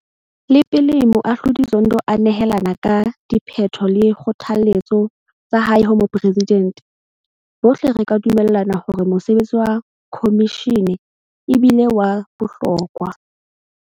Le pele Moahlodi Zondo a nehelana ka diphetho le dikgothaletso tsa hae ho Moporesidente, bohle re ka dumellana hore mosebetsi wa khomishene e bile wa bohlokwa.